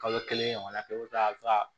Kalo kelen ɲɔgɔnna kɛ i bɛ taa